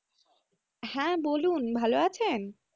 হ্যাঁ বলুন ভালো আছেন?